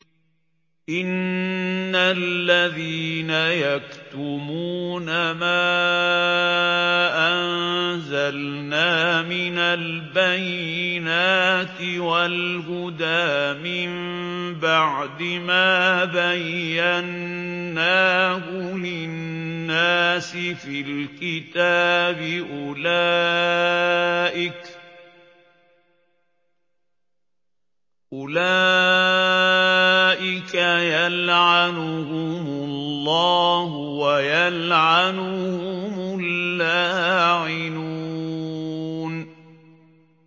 إِنَّ الَّذِينَ يَكْتُمُونَ مَا أَنزَلْنَا مِنَ الْبَيِّنَاتِ وَالْهُدَىٰ مِن بَعْدِ مَا بَيَّنَّاهُ لِلنَّاسِ فِي الْكِتَابِ ۙ أُولَٰئِكَ يَلْعَنُهُمُ اللَّهُ وَيَلْعَنُهُمُ اللَّاعِنُونَ